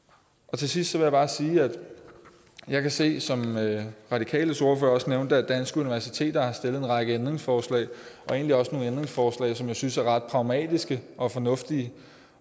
til sidst vil jeg bare sige at jeg kan se som radikales ordfører også nævnte det at danske universiteter har stillet en række ændringsforslag og egentlig også nogle ændringsforslag som jeg synes er ret pragmatiske og fornuftige